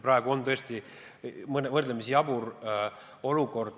Praegu on tõesti võrdlemisi jabur olukord.